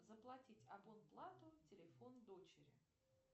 заплатить абон плату телефон дочери